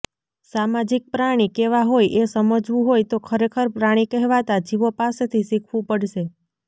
સામાજિક પ્રાણી કેવાં હોય એ સમજવું હોય તો ખરેખર પ્રાણી કહેવાતા જીવો પાસેથી શીખવું પડશે